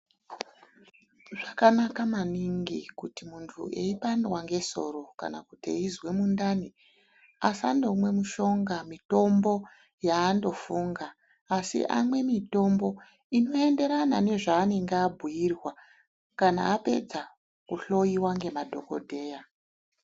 Zvakanaka maningi kuti munhu eipandwa ngesoro kana kuti eizwa mundani asandomwe mishonga, mitombo yaandofunga asi amwe mitombo inoenderana nezvaanenge abhuirwa kana apedza kuhloyiwa nemaDhokodheya